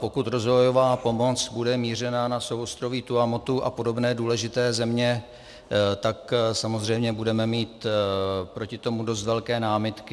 Pokud rozvojová pomoc bude mířena na souostroví Tuamotu a podobné důležité země, tak samozřejmě budeme mít proti tomu dost velké námitky.